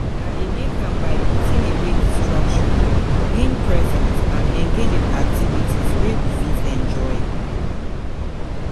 I dey make am by putting away distractions, being present and engage in activities wey we fit enjoy.